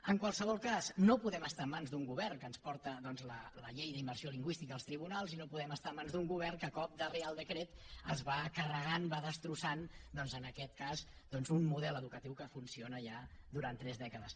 en qualsevol cas no podem estar en mans d’un govern que ens porta doncs la llei d’immersió lingüística als tribunals i no podem estar en mans d’un govern que a cop de reial decret es va carregant va destrossant doncs en aquest cas un model educatiu que funciona ja durant tres dècades